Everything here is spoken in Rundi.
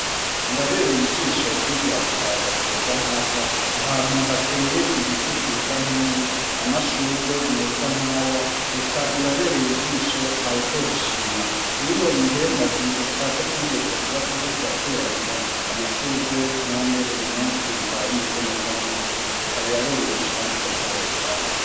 birabereye ijisho kwigira ku kayaga keza nk' aka, ahantu hateye ibiti vyiza nk'ibi, amashugwe meza nk' aya eka birabereye ijisho ntawutobishima. Bino bihe ndavyibuka ko twigeze kuba turi ko turateragira amashugwe, none uyu munsi bikaba bimeze neza nk'uku, eka birabereye igisho kandi turaryohewe cane.